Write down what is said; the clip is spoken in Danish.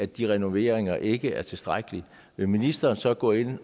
de renoveringer ikke er tilstrækkelige vil ministeren så gå ind